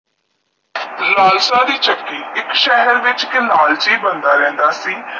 ਲਾਲਸ਼ਾ ਤੇ ਚੱਕੀ ਇਕ ਸਹਾਰ ਵਿਚ ਕੀ ਲਾਲਚੀ ਬਣਦਾ ਰਹੰਦਾ ਸੀ